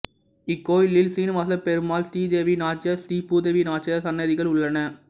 இக்கோயிலில் சீனுவாசபெருமாள் ஸ்ரீதேவி நாச்சியார் ஸ்ரீ பூதேவி நாச்சியார் சன்னதிகள் உள்ளன